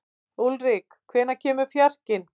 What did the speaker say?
Úlrik, hvenær kemur fjarkinn?